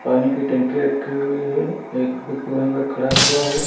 पानी की टंकी रखी हुई है एक व्यक्ति वहीं पर खड़ा हुआ है।